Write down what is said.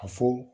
A fɔ